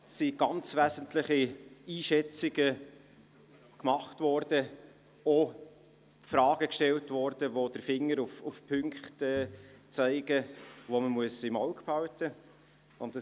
Es sind ganz wesentliche Einschätzungen abgegeben und auch Fragen gestellt worden, mit welchen der Finger auf Punkte gelegt wird, die man im Auge behalten muss.